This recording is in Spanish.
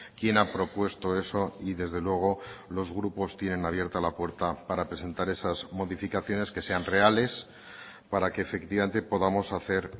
quién ha propuesto eso y desde luego los grupos tienen abierta la puerta para presentar esas modificaciones que sean reales para que efectivamente podamos hacer